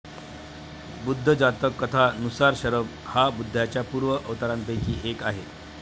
बुद्ध जातक कथा नुसार शरब हा बुद्धाच्या पूर्व अवतारांपैकी एक आहे